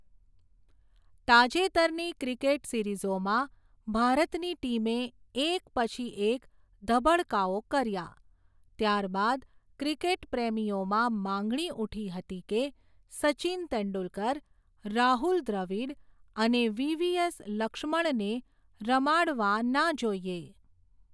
તાજેતરની ક્રિકેટ સિરીઝોમાં, ભારતની ટીમે એક પછી એક ધબડકાઓ કર્યા, ત્યારબાદ ક્રિકેટ પ્રેમીઓમાં માંગણી ઉઠી હતી કે, સચિન તેંડુલકર, રાહુલ દ્રવિડ અને વી. વી. એસ. લક્ષ્મણને રમાડવા ના જોઈએ.